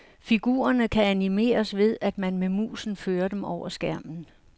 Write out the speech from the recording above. Figurerne kan animeres ved, at man med musen fører dem over skærmen.